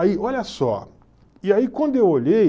Aí, olha só, e aí quando eu olhei...